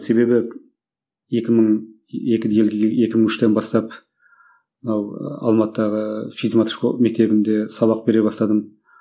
себебі екі мың екіде елге екі мың үштен бастап мынау алматыдағы физ мат мектебінде сабақ бере бастадым